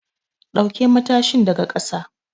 Ɗauke matashin daga ƙasa!